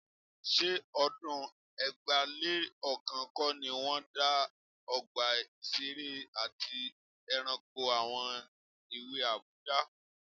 Ṣé ọdún ẹgbàá-lé-ọ̀kan kọ́ ni wọ́n dá Ọgbà Ìṣeré àti Ẹranko àwọn èwe Àbújá?